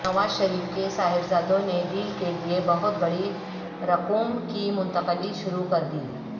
نواز شریف کے صاحبزادوں نے ڈیل کیلئے بہت بڑی رقوم کی منتقلی شروع کر دی